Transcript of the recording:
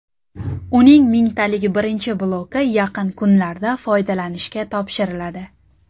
Uning mingtalik birinchi bloki yaqin kunlarda foydalanishga topshiriladi.